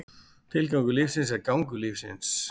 Tilgangur lífsins er gangur lífsins.